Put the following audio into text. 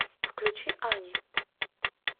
включи ани